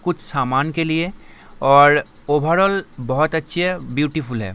कुछ सामान के लिए और ओवरऑल बहुत अच्छी है ब्यूटीफुल है ।